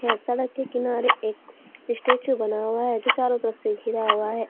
सड़क के किनारे एक स्टेचू बना हुआ है जो चारों तरफ से घीरा हुआ है।